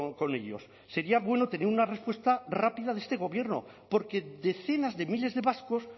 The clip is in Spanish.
con ellos sería bueno tener una respuesta rápida de este gobierno porque decenas de miles de vascos